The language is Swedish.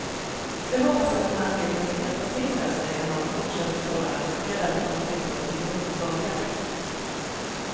Det hoppas jag den här filmen kan hjälpa till med, säger han och fortsätter tala engagerat om att bilda opinion mot valjakt.